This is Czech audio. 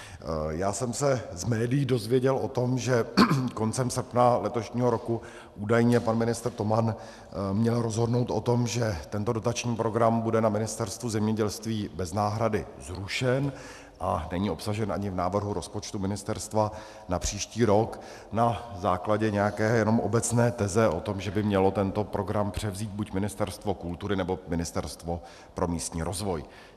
Já jsem se z médií dozvěděl o tom, že koncem srpna letošního roku údajně pan ministr Toman měl rozhodnout o tom, že tento dotační program bude na Ministerstvu zemědělství bez náhrady zrušen, a není obsažen ani v návrhu rozpočtu ministerstva na příští rok na základě nějaké jenom obecné teze o tom, že by mělo tento program převzít buď Ministerstvo kultury, nebo Ministerstvo pro místní rozvoj.